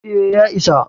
E, ya isa.